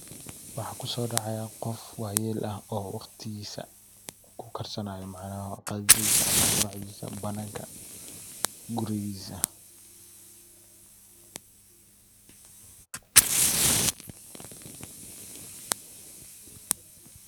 Waxa kusodacaya gof wayel ah oo wagtigisa kukarsanayo micnaha qadadhisa ama guracdisa bananka gurigisa.